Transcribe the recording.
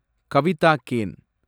Kavitha can